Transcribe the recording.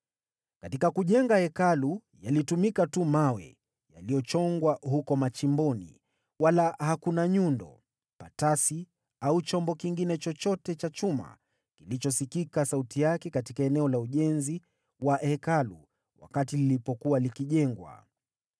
Katika kujenga Hekalu, yalitumika tu mawe yaliyochongwa huko machimboni, wala hakuna nyundo, patasi au chombo kingine chochote cha chuma kilichosikika sauti yake katika eneo la ujenzi wa Hekalu wakati lilipokuwa likijengwa.